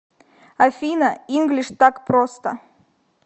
афина инглиш так просто